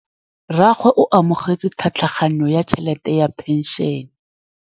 Rragwe o amogetse tlhatlhaganyô ya tšhelête ya phenšene.